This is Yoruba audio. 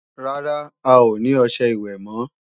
Rárá, a ò ní ọṣẹ ìwẹ̀ mọ́